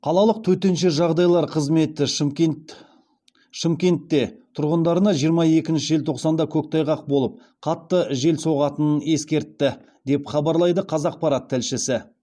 қалалық төтенше жағдайлар қызметі шымкентте тұрғындарына жиырма екінші желтоқсанда көктайғақ болып қатты жел соғатынын ескертті деп хабарлайды қазақпарат тілшісі